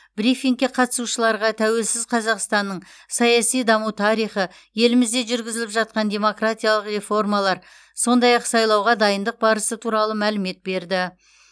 брифингке қатысушыларға тәуелсіз қазақстанның саяси даму тарихы елімізде жүргізіліп жатқан демократиялық реформалар сондай ақ сайлауға дайындық барысы туралы мәлімет берді